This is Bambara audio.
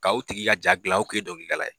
Ka o tigi ka ja dilan o tun ye dɔnkilidala ye